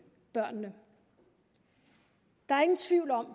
børnene der er ingen tvivl om at